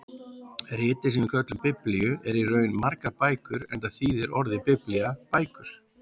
Ritið sem við köllum Biblíu er í raun margar bækur enda þýðir orðið biblía bækur.